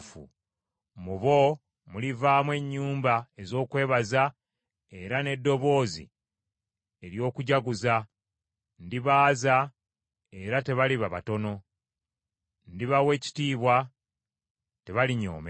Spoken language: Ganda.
Mu bo mulivaamu ennyimba ez’okwebaza era n’eddoboozi ery’okujaguza, ndibaaza, era tebaliba batono, ndibawa ekitiibwa, tebalinyoomebwa.